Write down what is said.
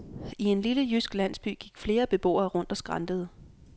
I en lille jysk landsby gik flere beboere rundt og skrantede.